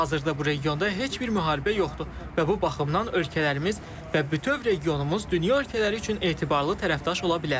Hazırda bu regionda heç bir müharibə yoxdur və bu baxımdan ölkələrimiz və bütöv regionumuz dünya ölkələri üçün etibarlı tərəfdaş ola bilər.